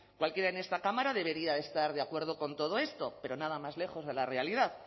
cualquiera en esta cámara debería de estar de acuerdo con todo esto pero nada más lejos de la realidad